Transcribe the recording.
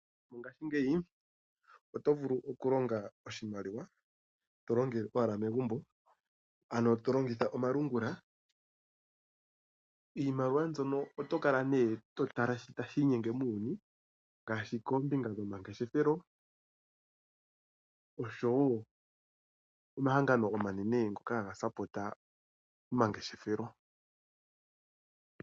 Ngashingeyi oto vulu okulonga oshimaliwa tolongele owala megumbo ano tolongitha omalungula. Iimaliwa mbyono oto kala nee to tala shoka tashi inyenge muuyuni ngaashi koombinga dhomangeshefelo oshowo omahangano omanene ngoka haga kwathele omangeshefelo.